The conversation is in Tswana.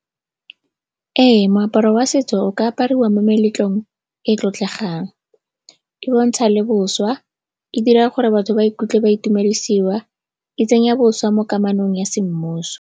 Ee, moaparo wa setso o ka apariwa mo meletlong e e tlotlegang. E bontsha le boswa, e dira gore batho ba ikutlwe ba itumedisiwa, e tsenya boswa mo kamanong ya semmuso.